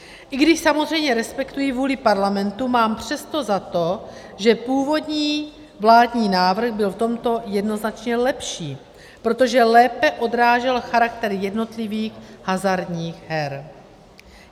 I když samozřejmě respektuji vůli Parlamentu, mám přesto za to, že původní vládní návrh byl v tomto jednoznačně lepší, protože lépe odrážel charakter jednotlivých hazardních her.